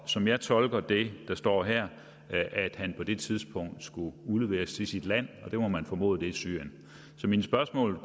som jeg tolker det der står her på det tidspunkt skulle udleveres til sit land og det må man formode er syrien så mit spørgsmål